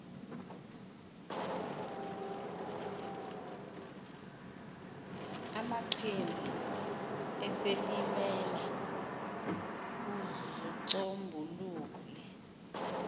amaqhina esilimela uzicombulule